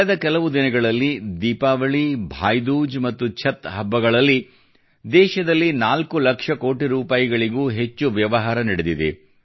ಕಳೆದ ಕೆಲವು ದಿನಗಳಲ್ಲಿ ದೀಪಾವಳಿ ಭಾಯಿ ದೂಜ್ ಮತ್ತು ಛಟ್ ಹಬ್ಬಗಳಲ್ಲಿ ದೇಶದಲ್ಲಿ 4 ಲಕ್ಷ ಕೋಟಿ ರೂಪಾಯಿಗೂ ಹೆಚ್ಚು ವ್ಯವಹಾರ ನಡೆದಿದೆ